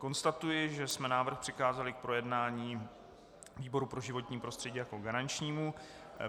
Konstatuji, že jsme návrh přikázali k projednání výboru pro životní prostředí jako garančnímu.